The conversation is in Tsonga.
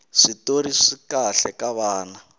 switori swikahle ka vana